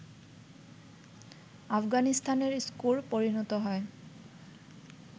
আফগানিস্তানের স্কোর পরিণত হয়